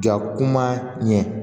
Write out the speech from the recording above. Ja kuma ɲɛ